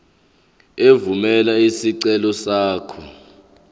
evumela isicelo sakho